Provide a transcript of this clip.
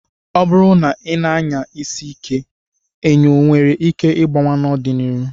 Ọ bụrụ na ị na-anya isi ike, enyo nwere ike ịgbawa n'ọdịnihu.